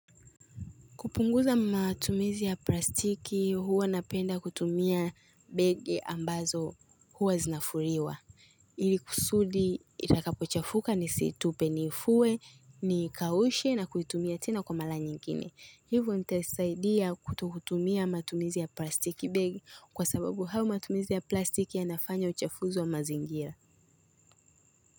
Kupunguza matumizi ya plastiki, huwa napenda kutumia begi ambazo huwa zinafuliwa. Ili kusudi, itakapo chafuka nisitupe niifue, nikaushe na kuitumia tena kwa mara nyingine Hivyo itasaidia kutokutumia matumizi ya plastiki begi kwa sababu hayo matumizi ya plastiki yanafanya uchafuzi wa mazingira.